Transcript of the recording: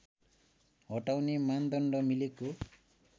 हटाउने मानदण्ड मिलेको